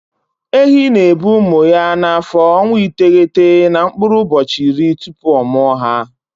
Ehi na-ebu ụmụ ya n'afọ ọnwa iteghete na mkpụrụ ụbọchị iri tupu ọ mụa ha.